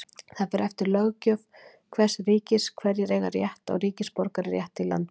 Það fer eftir löggjöf hvers ríkis hverjir eiga rétt á ríkisborgararétti í landinu.